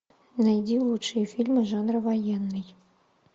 найди лучшие фильмы жанра военный